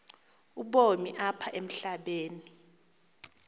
ubomi apha emhlabeni